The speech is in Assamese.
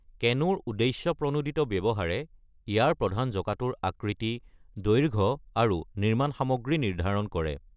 কেনুৰ উদ্দেশ্যপ্ৰণোদিত ব্যৱহাৰে ইয়াৰ প্ৰধান জঁকাটোৰ আকৃতি, দৈৰ্ঘ্য আৰু নিৰ্মাণ সামগ্ৰী নিৰ্ধাৰণ কৰে।